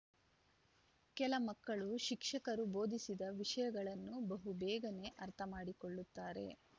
ಕೆಲ ಮಕ್ಕಳು ಶಿಕ್ಷಕರು ಬೋಧಿಸಿದ ವಿಷಯಗಳನ್ನು ಬಹಬೇಗನೆ ಅರ್ಥಮಾಡಿಕೊಳ್ಳುತ್ತಾರೆ